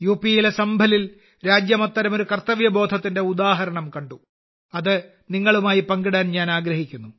യിലെ സംഭലിൽ അത്തരമൊരു കർത്തവ്യബോധത്തിന്റെ ഉദാഹരണം കണ്ടു അത് നിങ്ങളുമായി പങ്കിടാൻ ഞാൻ ആഗ്രഹിക്കുന്നു